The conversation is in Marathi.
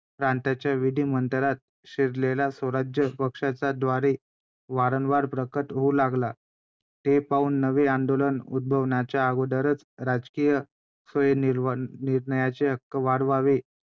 प्रांतांच्या विधिमंडळात शिरलेल्या स्वराज्य पक्षाच्या द्वारे वारंवार प्रकट होऊ लागला. हे पाहून नवे आंदोलन उद्भवण्याच्या अगोदरच राजकीय स्वयंनिर्णयाचे हक्क वाढवावे